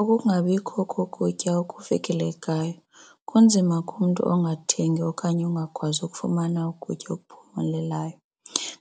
Ukungabikho kukutya okufikelelekayo kunzima kumntu ongathengi okanye ungakwazi ukufumana ukutya okuphumelelayo